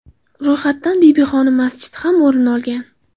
Ro‘yxatdan Bibixonim masjidi ham o‘rin olgan.